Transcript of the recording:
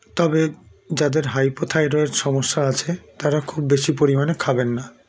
তবে যাদের hypothyroid সমস্যা আছে তারা খুব বেশি পরিমাণে খাবেননা